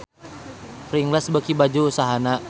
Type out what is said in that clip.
Pringles beuki maju usahana